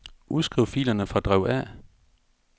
Udskriv filerne fra drev A.